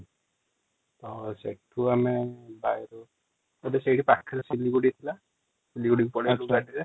ତ ସେଠୁ ଆମେ ପାଖରେ ଥିଲି ବୋଲି |